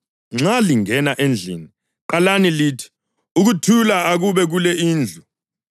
Nxa lingena endlini, qalani lithi, ‘Ukuthula akube kule indlu.’